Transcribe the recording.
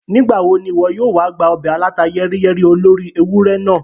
Nígbàwo ni ìwọ yóò wa gba ọbẹ̀ alàta yẹ́ríyẹ́rí olóri ewurẹ naa?